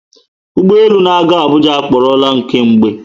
Ụgbọelu na aga Abuja aporola nke mgbe